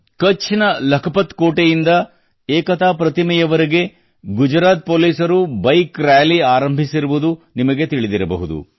ಕಛ್ ನ ಲಖಪತ್ ಕೋಟೆಯಿಂದ ಏಕತಾ ಪ್ರತಿಮೆವರೆಗೆ ಗುಜರಾತ್ ಪೋಲಿಸರು ಬೈಕ್ ರಾಲಿ ಆರಂಭಿಸಿರುವುದು ನಿಮಗೆ ತಿಳಿದಿರಬಹುದು